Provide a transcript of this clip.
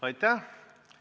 Aitäh!